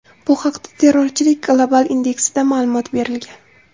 Bu haqda Terrorchilik global indeksida ma’lumot berilgan .